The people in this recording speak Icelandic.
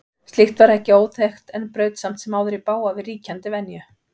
Slíkt var ekki óþekkt en braut samt sem áður í bága við ríkjandi venju.